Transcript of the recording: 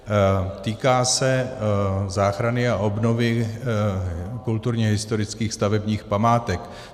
Týká se záchrany a obnovy kulturně historických stavebních památek.